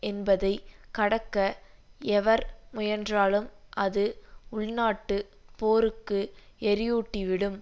என்பதை கடக்க எவர் முயன்றாலும் அது உள்நாட்டு போருக்கு எரியூட்டிவிடும்